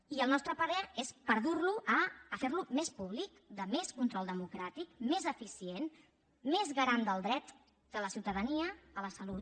i el nostre parer és per dur lo a fer lo més públic de més control democràtic més eficient més garant del dret de la ciutadania a la salut